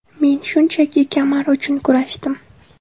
Men shunchaki kamar uchun kurashdim.